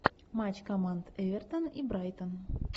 матч команд эвертон и брайтон